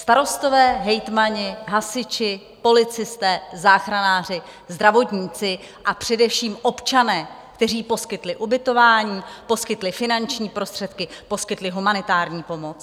Starostové, hejtmani, hasiči, policisté, záchranáři, zdravotníci, a především občané, kteří poskytli ubytování, poskytli finanční prostředky, poskytli humanitární pomoc.